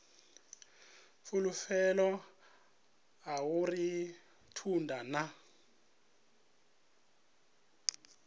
fulufhelo a uri thundu na